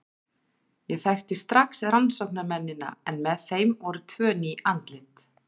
Ég þekkti strax rannsóknarmennina en með þeim voru tvö ný andlit.